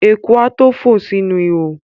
Eku a tó fò sínú ihò.